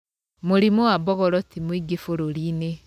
Mũrimũ wa mbogoro ti mũingĩ bũrũri-inĩ